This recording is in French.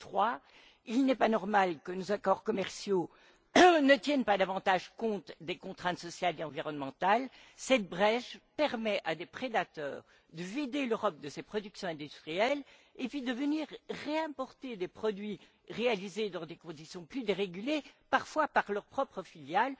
Troisièmement, il n'est pas normal que nos accords commerciaux ne tiennent pas davantage compte des contraintes sociales et environnementales. Cette brèche permet à des prédateurs de vider l'Europe de ses productions industrielles et, puis, de venir réimporter des produits réalisés dans des conditions plus dérégulées, parfois par leurs propres filiales.